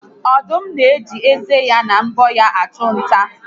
Ọdụm na-eji ezé na mbọ ya achụ nta